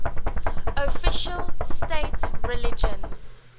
official state religion